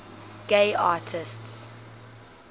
gay artists